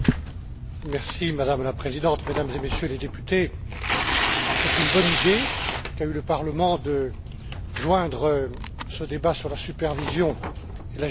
Madame la Présidente, Mesdames et Messieurs les députés, c'est une bonne idée qu'a eue le Parlement de joindre ce débat sur la supervision et la gestion de crise.